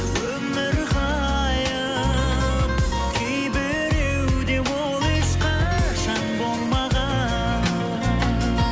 өмір ғайып кейбіреуде ол ешқашан болмаған